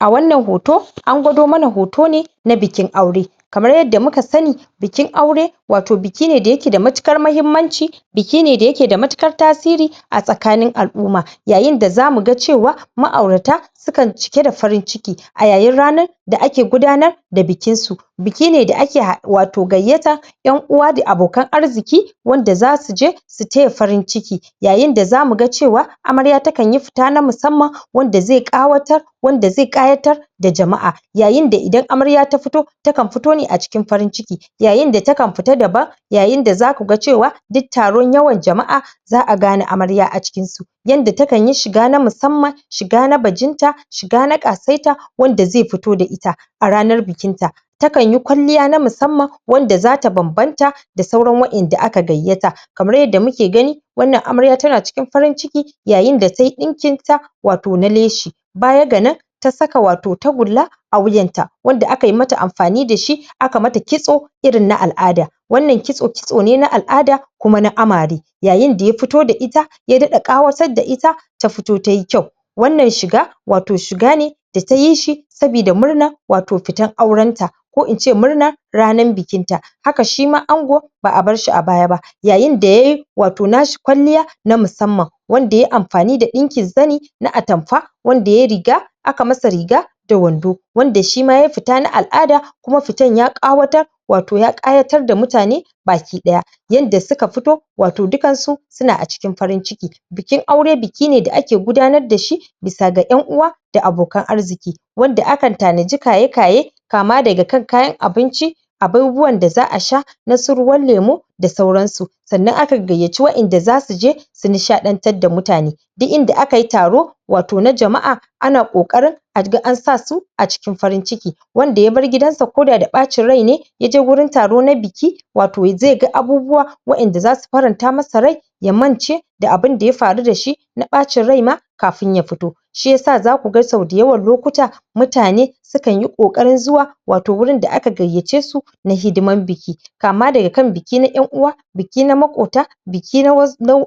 a wannan hoto an gwado mana hoto ne na bikin aure kamar yadda muka sani bikin aure wato bikine dayake da matukan mahimmanci biki ne daya e da matukar tasiri a tsakanin al'umma yayin da zamuga cewa ma'urata sukan cike da farin ciki ayayin ranar da ake gudanar da bikin su bikinedake wato gayyata ƴan'uwa wato da abokan arziki wanda zasu je taya farin ciki yayih da zamuga cewa amarya takanyi fita na musmman wanmda zai ƙawatar wanda zai ƙayatar da jama'a yayin da idan amrya ta fito takan fito ne acikin farin ciki yayinda takan fita daban yayin da zakuga cewa duk taron yawan jama' za'a gane amarya acikin su yanda takayi shiga na musamman shiga na bajinta shiga na ƙasaita wanda zai fito da ita a ranar bikin ta takan yi kwalliya na musamman wanda zata banban ta da sauran wainda aka gayyata kamar yadda muke gani wannan amarya tana cikin farin ciki yayin da tayi ɗdinkin ta wato na leshi baya ga nan ta saka wato tagula a wuyan ta wanda akyi mata anfani da shi akamata kitso irin na al'ada wannan kitso kitso ne na al'ada kuma na amare yayinda yafito da ita ya daɗa kawasar da ita ta fito tayi kyau wanan shiga wato shiga ne da tayi shi sabida murna wato fitan auren ta ko ince murna ranan bikinta haka shima ango ba'a barshi abaya ba yayin da yayi wato na shi kwaliya na musa man wandaya anfany da ɗinkin zani na atanfa wa yayi riga aka masa riga da wando wanda shima yayi fita na al'ada kuma fitan ya ƙawatar wato ya ƙayatar da mutane baki ɗaya yanda suka fito wato dukan su suna acikin farin ciki biki aure biki ne da ake gudanar dashi bisa ga ƴan; uwa da abokan arziki wanda akan tanai kayekaye kama daga kankayan abinci abubuwan daza'asha nasu ruwan lemo sauran su sanan aka gayyaci waɗan da zasu je su nishaantar da mutane duk inda akayi taro wato na jama'a ana ƙoƙarin ga ansasu a cikin farin ciki wanda yabar gidansa koda da acin rai ne yajewurin taro na biki wato zai ga abubuwa waƴanda zasu faranta masa rai ya mance da abun daya faru dashi na ɓacin rai ma kafin ya fito shiya sa zakuga sau dayawan lokuta mutane sukanyi kokarin zuwa wato wurin da aka gayyace su na hidiman biki kama daga kan biki na ƴan'uwa biki na makota biki]?]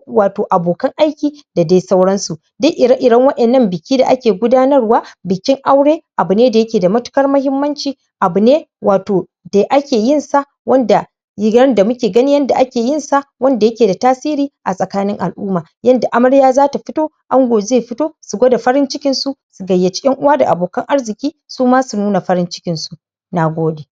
wato abokan aiki da dai sauran su duk ire ire waƴannan biki da ake gudanarwa bikin aure abu ne dayake da matu kar mahimmanci abu ne wato de ake yin sa wanda rigan damuke ganin yadda ake yin sa wanda yake da tasiri a tsakanin al'umma yanda amarya zata fito ango zai fito su gwada farin cikin su su gayyaci ƴan'uwa da abokan arziki suma su nuna farin cikin su Nagode